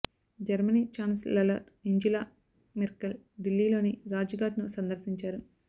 Germany chancellor Angela Merkel ఢిల్లీలోని రాజ్ ఘాట్ ను సందర్శించారు